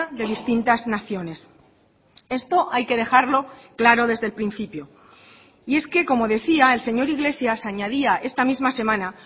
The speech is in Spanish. de distintas naciones esto hay que dejarlo claro desde el principio y es que como decía el señor iglesias añadía esta misma semana